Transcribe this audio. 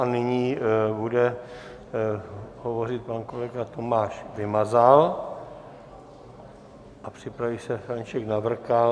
A nyní bude hovořit pan kolega Tomáš Vymazal a připraví se František Navrkal.